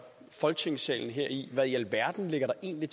folketingssalen her i hvad i alverden der egentlig